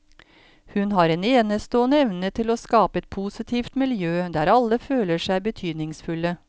Hun har en enestående evne til å skape et positivt miljø der alle føler seg betydningsfulle.